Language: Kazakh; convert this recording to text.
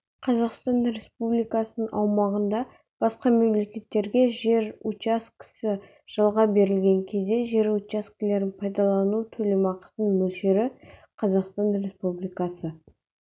қазақстан республикасының аумағында басқа мемлекеттерге жер учаскесі жалға берілген кезде жер учаскелерін пайдалану төлемақысының мөлшері қазақстан республикасы